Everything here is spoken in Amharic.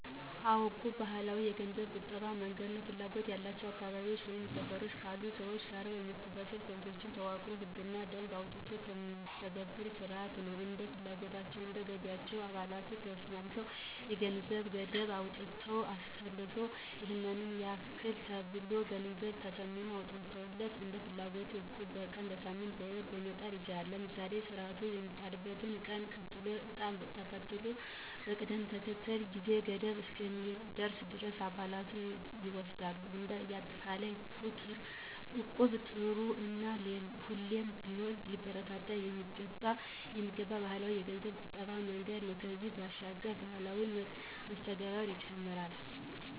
አዎ... እቁብ ባህላዊ የገንዘብ ቁጠባ መንገድ ነው። ፍላጎቱ ያላቸው በአካባቢው ወይም በሰፈር ካሉ ሰዎች ጋር በመሰባሰብ ኮሚቴዎች ተዋቅሮ ህግና ደንብ ወጥቶለት የሚተገብር ስርዓት ነው። እንደየ ፍላጎታቸው፣ እንደ ገቢያቸው አባላቱ ተስማምተው የጊዜ ገደብ አውጥተው አስልተው ይሔን ያክል ተብሎ የገንዘብ ተመን ወጥቶለት እንደፍላጎት እቁብ በቀን፣ በሳምንት፣ በወር መጣል ይቻላል። እናም ስርዓቱ የሚጣልበት ቀን ተጥሎ እጣ ተመቶ በቅደም ተከተል የጊዜ ገደቡ እስከሚያልቅ ድረስ አባላቱ ይወስዳሉ። እንደ አጠቃላይ እቁብ ጥሩ እና ሁሌም ቢሆን ሊበረታታ የሚገባው ባህላዊ የገንዘብ ቁጠባ መንገድ ነው። ከዚህም ባሻገር ማህበራዊ መስተጋብርን ይጨምራል።